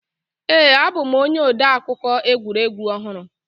Ee a bụ m onye odeakụkọ egwuregwu ọhụrụ